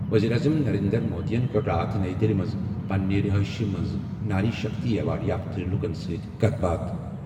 ؤزیٖرِ اعظم نَرینٛدر مودِین کٔر راتھ نَیہِ دِلہِ منٛز پنٛنہِ رِہٲیشہِ منٛز ناری شکتی ایوارڈ یافتہٕ لُکن سۭتۍ کَتھ باتھ۔